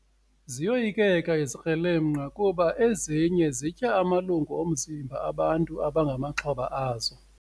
Ziyoyikeka izikrelemnqa kuba ezinye zitya amalungu omzimba abantu abangamaxhoba azo.